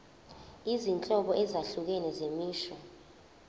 izinhlobo ezahlukene zemisho